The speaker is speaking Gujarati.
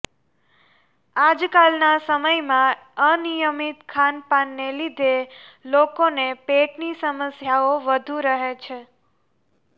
આજકાલ ના સમયમાં અનિયમિત ખાનપાન ને લીધે લોકોને પેટની સમસ્યાઓ વધુ રહે છે